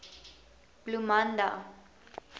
bloemanda